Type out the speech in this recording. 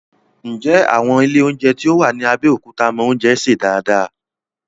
Ǹjẹ́ àwọn ilé oúnjẹ tó wà ní Abẹ́òkúta mọ oúnjẹ sè dáadáa?